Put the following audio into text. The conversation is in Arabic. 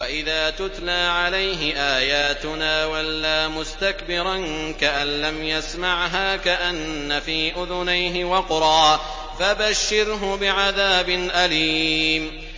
وَإِذَا تُتْلَىٰ عَلَيْهِ آيَاتُنَا وَلَّىٰ مُسْتَكْبِرًا كَأَن لَّمْ يَسْمَعْهَا كَأَنَّ فِي أُذُنَيْهِ وَقْرًا ۖ فَبَشِّرْهُ بِعَذَابٍ أَلِيمٍ